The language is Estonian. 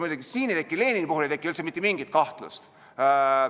Muidugi, Lenini puhul ei teki üldse mitte mingit kahtlust.